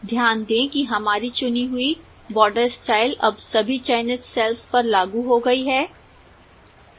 ध्यान दें कि हमारी चुनी हुई border style अब सभी चयनित cells पर लागू हो गई है